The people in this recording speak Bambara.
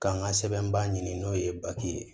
K'an ka sɛbɛnbaa ɲini n'o ye ye